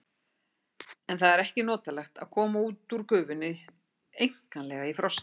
En það er ekki notalegt að koma út úr gufunni einkanlega í frosti.